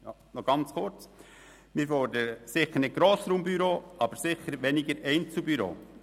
Noch ganz kurz: Wir fordern sicher keine Grossraumbüros, aber sicher weniger Einzelbüros.